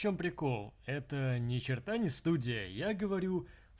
чём прикол это ничерта не студия я говорю